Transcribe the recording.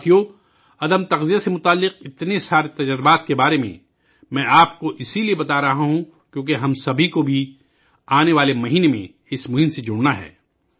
ساتھیو ، میں آپ کو تغذیہ سے متعلق بہت سے نت نئے تجربات کے بارے میں بتا رہا ہوں کیونکہ آنے والے مہینے میں ہم سب کو اس مہم میں شامل ہونا ہے